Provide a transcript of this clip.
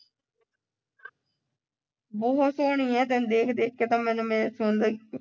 ਬਹੁਤ ਸੋਹਣੀ ਹੈ ਤੈਨੂੰ ਦੇਖ-ਦੇਖ ਕੇ ਤਾਂ ਮੈਨੂੰ ਮੇਰੇ ਸੌਂਦੇ